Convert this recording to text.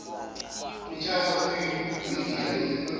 utiger indiya lodumo